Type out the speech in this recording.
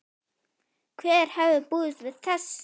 Hver hefði búist við þessu??